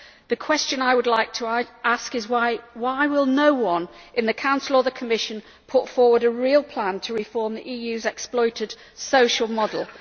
The question I would like to ask is why will no one in the Council or the Commission put forward a real plan to reform the EU's exploited social model?